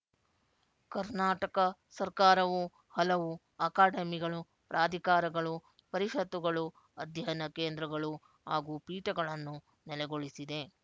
ಕರ್ನಾಟಕ ಸರಕಾರವು ಹಲವಾರು ಅಕಾಡಮಿಗಳು ಪ್ರಾಧಿಕಾರಗಳು ಪರಿಶತ್ತುಗಳು ಅಧ್ಯಯನ ಕೇಂದ್ರಗಳು ಹಾಗೂ ಪೀಠಗಳನ್ನು ನೆಲೆಗೊಳಿಸಿದೆ